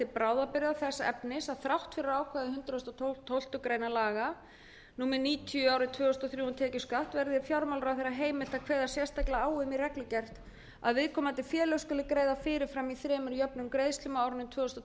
bráðabirgða þess efnis að þrátt fyrir ákvæði hundrað og tólftu grein laga númer níutíu tvö þúsund og þrjú um tekjuskatt verði fjármálaráðherra heimilt að kveða sérstaklega á um í reglugerð að viðkomandi félög skuli greiða fyrir fram í þremur jöfnum greiðslum á árunum tvö þúsund og